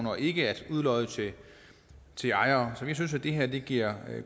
og ikke at udlodde til ejere så vi synes at det her giver